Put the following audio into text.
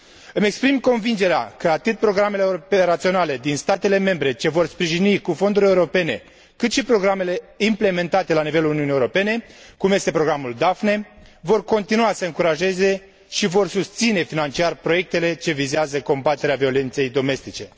Îmi exprim convingerea că atât programele operaționale din statele membre ce vor fi sprijinite din fonduri europene, cât și programele implementate la nivelul Uniunii Europene, cum este programul Daphne, vor continua să încurajeze și vor susține financiar proiectele ce vizează combaterea violenței domestice.